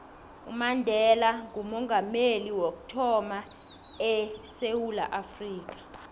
umandela ngoomongameli wokuthama edewula afrika